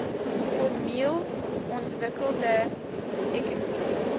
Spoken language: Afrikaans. formeel ontwikkelde ekonomie